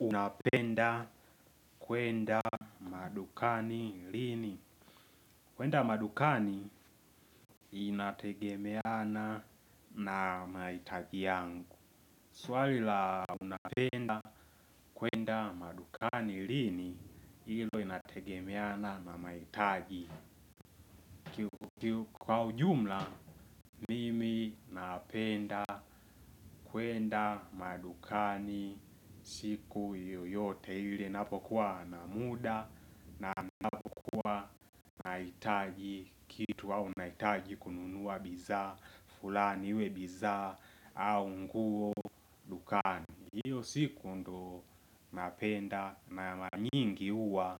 Unapenda kwenda madukani lini. Kwenda madukani inategemeana na mahitaji yangu. Swali la unapenda kwenda madukani lini hilo inategemeana na mahitaji. Kwa ujumla mimi napenda kwenda madukani siku yoyote ile napokuwa na muda na napokuwa nahitaji kitu au nahitaji kununuwa bidhaa, fulani iwe bidhaa au nguo dukani. Hiyo siku ndo napenda na mara nyingi huwa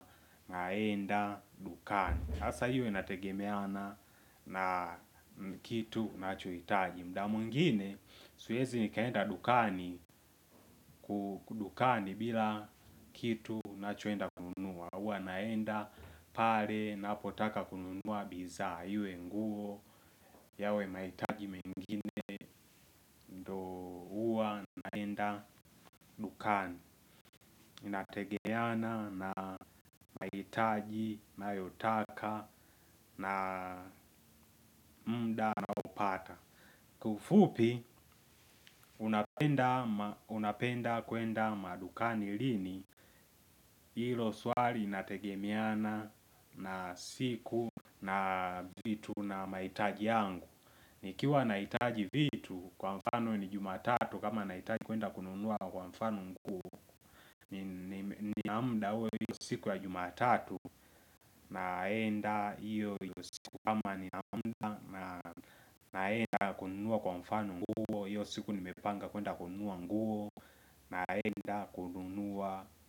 naenda dukani. Hasa iyo nategemeana na kitu nachohitaji. Muda mwingine siwezi nikaenda dukani kudukani bila kitu nachoenda kununua huwa naenda pale napotaka kununua bidhaa. Iwe nguo yawe mahitaji mengine ndo huwa naenda dukani. Inategemeana na mahitaji nayotaka na muda na naopata. Kiufupi unapenda kwenda madukani lini hilo swali linategemeana na siku na vitu na mahitaji yangu. Nikiwa na hitaji vitu kwa mfano ni jumatatu. Kama na hitaji kwenda kununuwa kwa mfano nguo. Nina muda uwe siku ya jumatatu. Naenda hiyo kama ni naenda kununuwa kwa mfano nguo hiyo siku ni nimepanga kwenda kununuwa nguo. Naenda kununua.